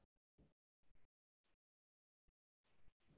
ஆஹ் நா select பண்ணிருக்கேன். அது உங்களுக்கு forward பண்ணிருக்கேன் பாருங்க